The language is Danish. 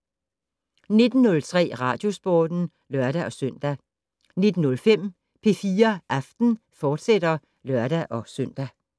19:03: Radiosporten (lør-søn) 19:05: P4 Aften, fortsat (lør-søn)